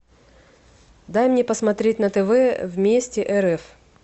дай мне посмотреть на тв вместе рф